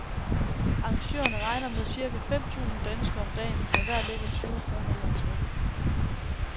Arrangørerne regner med cirka fem tusind danskere om dagen, der hver lægger tyve kroner i entre.